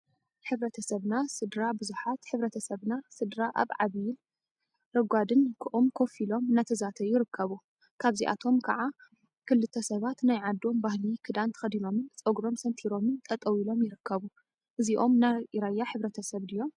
ሕብረተሰብና ስድራ ቡዙሓት ሕብረተሰብና ስድራ አብ ዓባይን ረጓድን ኦም ኮፍ ኢሎም እናተዛተዩ ይርከቡ፡፡ ካብዚአቶም ከዓ ክልተ ሰባት ናይ ዓዶም ባህሊ ክዳን ተከዲኖምን ፀጉሮም ሰንቲሮምን ጠጠው ኢሎም ይርከቡ፡፡ እዚኦም ናይ ራያ ሕብረተሰብ ድዮም?